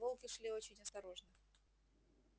волки шли очень осторожно